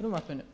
í frumvarpinu